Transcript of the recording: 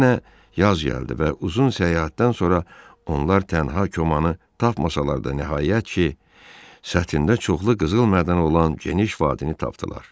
Yenə yaz gəldi və uzun səyahətdən sonra onlar tənha Komamı tapmasalar da, nəhayət ki, səthində çoxlu qızıl mədəni olan geniş vadini tapdılar.